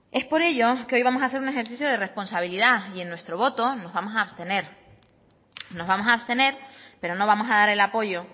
es por ello que hoy vamos a hacer un ejercicio de responsabilidad y en nuestro voto nos vamos a abstener nos vamos a abstener pero no vamos a dar el apoyo